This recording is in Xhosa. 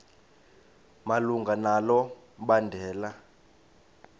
malunga nalo mbandela